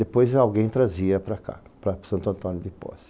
Depois alguém trazia para cá, para Santo Antônio de Pozzi.